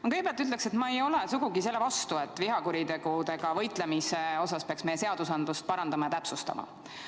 Ma kõigepealt ütlen, et ma ei ole sugugi selle vastu, et vihakuritegudega võitlemise osas peaks meie seadusandlust parandama ja täpsustama.